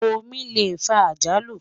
omí lẹ fà àjálù